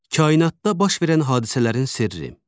Kainatda baş verən hadisələrin sirri.